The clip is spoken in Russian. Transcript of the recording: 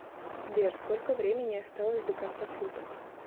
сбер сколько времени осталось до конца суток